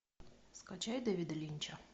скачай дэвида линча